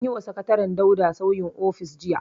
An yi wa sakataren Dauda sauyin ofis jiya.